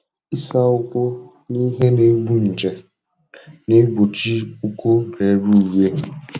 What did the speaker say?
Ịsa ụkwụ na ihe na-egbu nje na-egbochi ụkwụ rere ure.